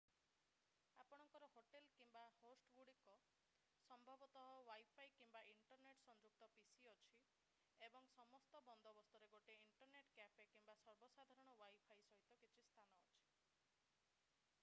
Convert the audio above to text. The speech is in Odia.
ଆପଣଙ୍କର ହୋଟଲ୍ କିମ୍ବା ହୋଷ୍ଟଗୁଡ଼ିକରେ ଯଦି ଏକ ଅତିଥିଗୃହ କିମ୍ବା ନିଜସ୍ୱ ଘରେ ରହିଥା’ନ୍ତି ସମ୍ଭବତଃ ୱାଇଫାଇ କିମ୍ବା ଇଣ୍ଟରନେଟ୍ ସଂଯୁକ୍ତ pc ଅଛି ଏବଂ ସମସ୍ତ ବନ୍ଦୋବସ୍ତରେ ଗୋଟିଏ ଇଣ୍ଟରନେଟ୍ କ୍ୟାଫେ କିମ୍ବା ସର୍ବସାଧାରଣ ୱାଇଫାଇ ସହିତ କିଛି ସ୍ଥାନ ଅଛି।